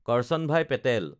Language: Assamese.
কাৰ্চানভাই পেটেল